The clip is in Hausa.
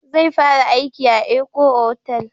Zai fara aiki a Eko otal